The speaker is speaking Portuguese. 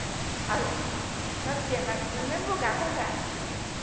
Nós ia no no mesmo lugar comprar.